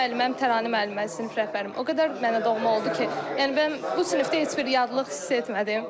Müəlliməm Təranə müəllimə, sinif rəhbərim o qədər mənə doğma oldu ki, yəni mən bu sinifdə heç bir yadlıq hiss etmədim.